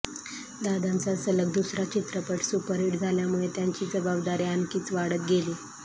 दादांचा सलग दुसरा चित्रपट सुपरहिट झाल्यामुळे त्यांची जबाबदारी आणखीच वाढत गेली